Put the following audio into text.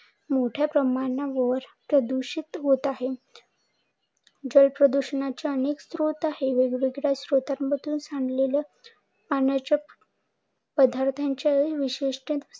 मोठ्या प्रमाणावर प्रदूषित होत आहे. जल प्रदूषणाचे अनेक स्त्रोत आहे. वेग वेगळ्या स्त्रोतांमधून सांडलेल्या पाण्याच्या पदार्थांच्या विशेष